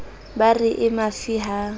ba re e mafi ha